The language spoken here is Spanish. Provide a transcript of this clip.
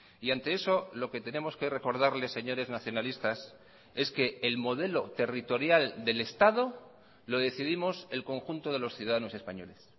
y ante eso lo que tenemos que recordarle señores nacionalistas es que el modelo territorial del estado lo decidimos el conjunto de los ciudadanos españoles